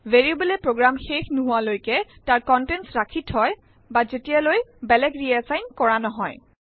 ভেৰিয়েবলএ program শেষ নোহোৱালৈকে তাৰ কনটেন্ট ৰাখি থয় বা যেতিয়ালৈ বেলেগ ৰিএছাইন কৰা নহয়